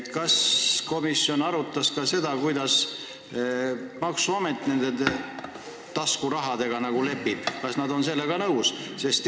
Kas komisjon arutas ka seda, kuidas maksuamet nende taskurahaga lepib – kas nad on sellega nõus?